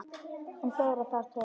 En fleira þarf til.